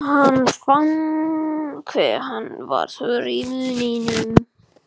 Hann fann hve hann var þurr í munninum.